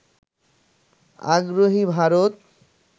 আগ্রহী ভারত